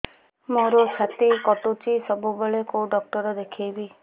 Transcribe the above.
ମୋର ଛାତି କଟୁଛି ସବୁବେଳେ କୋଉ ଡକ୍ଟର ଦେଖେବି